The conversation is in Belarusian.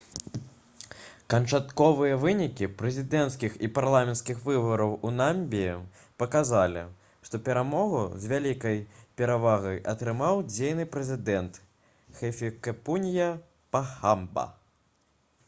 канчатковыя вынікі прэзідэнцкіх і парламенцкіх выбараў у намібіі паказалі што перамогу з вялікай перавагай атрымаў дзейны прэзідэнт хіфікепунье пахамба